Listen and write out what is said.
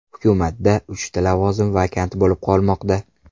Hukumatda uchta lavozim vakant bo‘lib qolmoqda.